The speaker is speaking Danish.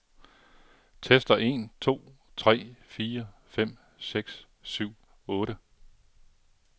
Tester en to tre fire fem seks syv otte.